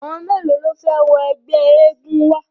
Àwọn mélòó ló fẹ́ wọ ẹgbẹ́ eégun wa?